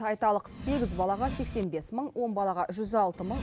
айталық сегіз балаға сексен бес мың он балаға жүз алты мың